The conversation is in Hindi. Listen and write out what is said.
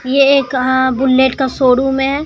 ये कहां बुलेट का शोरूम है।